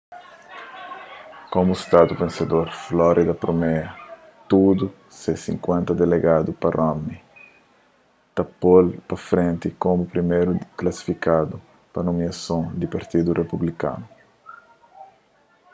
komu stadu vensedor florida premia tudu se sinkuenta delegadu pa romney ta po-l pa frenti komu priméru klasifikadu pa nomiason di partidu republikanu